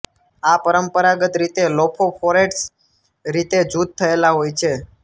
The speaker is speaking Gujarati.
આ પરંપરાગત રીતે લોફોફોરેટ્સ રીતે જૂથ થયેલા હોય છે